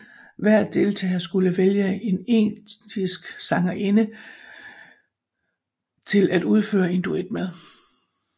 Hver deltager skulle vælge en estisk sangerinde til at udføre en duet med